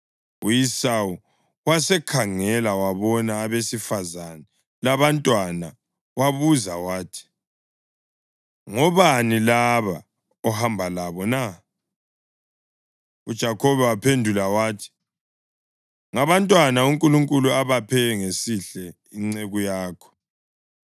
U-Esawu wasekhangela wabona abesifazane labantwana. Wabuza wathi, “Ngobani laba ohamba labo na?” UJakhobe waphendula wathi, “Ngabantwana uNkulunkulu abaphe ngesihle inceku yakho.”